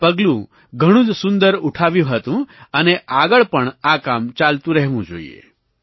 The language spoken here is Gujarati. આ પગલું ઘણું જ સુંદર ઉઠાવ્યું હતું અને આગળ પણ આ કામ ચાલતું રહેવું જોઈએ